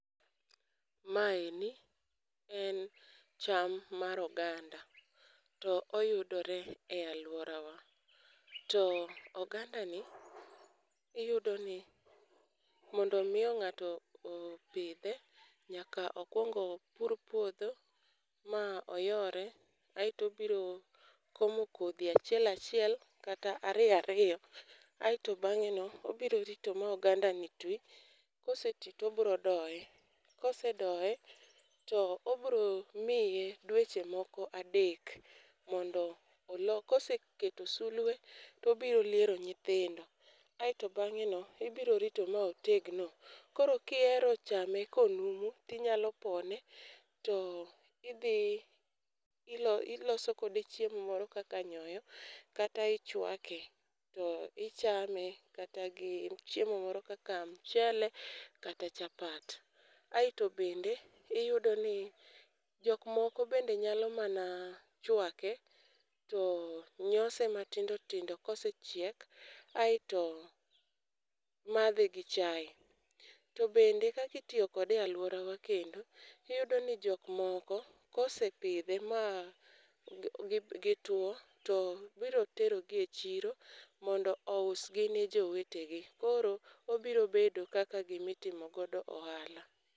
Maeni en cham mar oganda. To oyudore e alworawa. To ogandani, iyudo ni mondo miyo ng'ato opidhe nyaka okwongo pur puodho ma oyore aeto obiro komo kodhi achiel, achiel kata ariyo ariyo. Aeto bang'e no obiro rito ma ogandani ti, kose ti to obiro doye. Kose doye to obiro miye dweche moko adek mondo oloth. Kose keto sulwe to obiro liero nyithindo. Aeto bang'e no, ibiro rito ma otegno. Koro kihero chame ka onumu tinyalo pone, to idhi iloso kode chiemo moro kaka nyoyo, kata ichwake to ichame, kata gi chiemo moro kaka mchele, kata chapat. Aeto bende, iyudo ni jok moko bende nyalo mana chwake to nyose matindo tindo kose chiek aeto madhe gi chai. To bende kaka itiyo kode e alworawa kendo, iyudo ni jok moko kose pidhe ma gitwo to biro tero gi e chiro mondo ousgi ne jowetegi. Koro obiro bedo kaka gima itimo godo ohala.